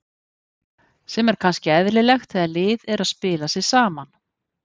Sem er kannski eðlilegt þegar lið er að spila sig saman.